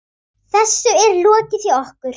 Þessu er lokið hjá okkur.